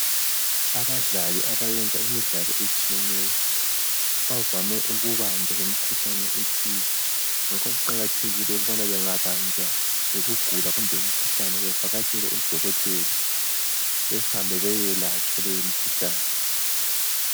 Abadlali abayenza imidlalo etshiyeneyo bavame ukubanjwa yimikhuhlane ethize. Ngakho kuqakathekile ukubana bengabanjwa yikugula kumbe umkhuhlane bevakatshele odokotela behambe beyelatshwa leyo mkhuhlane.